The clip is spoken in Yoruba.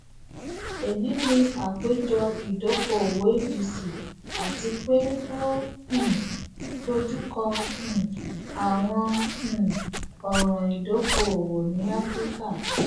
eyi ni apejọ idokoowo abc ati pe o um dojukọ um awọn um ọran idokoowo ni afirika